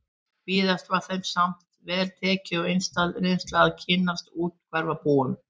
Víðast var þeim samt vel tekið og einstæð reynsla að kynnast úthverfabúum